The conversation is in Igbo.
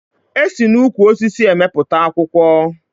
E si n'ukwu osisi emepụta akwụkwọ